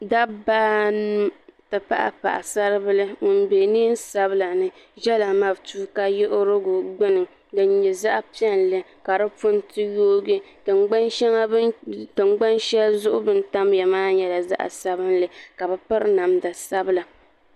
dabba anu n ti pahi paɣasari bili ŋun bɛ neen sabila ni ʒɛla matuuka yiɣirigu gbuni din nyɛ zaɣ piɛlli ka di punti yoogi tingbani shɛli zuɣu bi ni tamya maa nyɛla zaɣ sabinli ka bi piri namda sabila